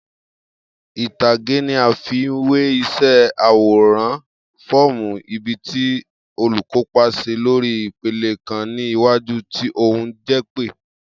Itage ni a ifiwe išẹ aworan fọọmu ibi ti olukopa ṣe lori ipele kan ni iwaju ti ohun jepe.